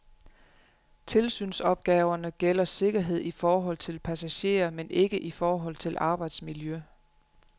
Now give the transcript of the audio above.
Tilsynsopgaverne gælder sikkerhed i forhold til passagerer men ikke i forhold til arbejdsmiljø.